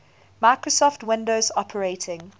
microsoft windows operating